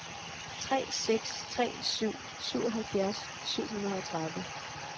tre seks tre syv syvoghalvfjerds syv hundrede og tredive